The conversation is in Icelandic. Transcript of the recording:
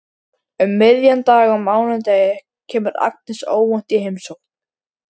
Um miðjan dag á mánudegi kemur Agnes óvænt í heimsókn.